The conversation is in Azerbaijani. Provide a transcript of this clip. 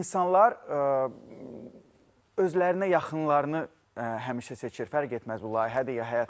İnsanlar özlərinə yaxınlarını həmişə seçir, fərq etməz bu layihədir ya həyatdır.